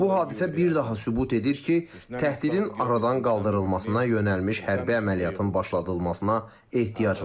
Bu hadisə bir daha sübut edir ki, təhdidin aradan qaldırılmasına yönəlmiş hərbi əməliyyatın başladılmasına ehtiyac var.